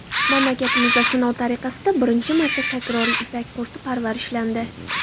Mamlakatimizda sinov tariqasida birinchi marta takroriy ipak qurti parvarishlandi.